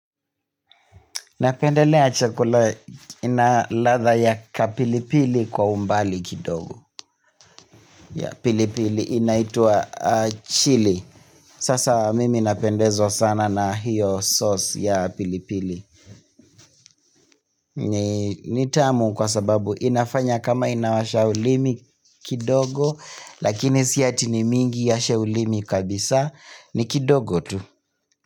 Napendelea chakula ina ladha ya kapilipili kwa umbali kidogo. Ya pilipili inaitwa chilli Sasa mimi napendezwa sana na hiyo sauce ya pilipili ni tamu kwa sababu inafanya kama inawasha ulimi kidogo Lakini si ati ni mingi iwashe ulimi kabisa, ni kidogo tu.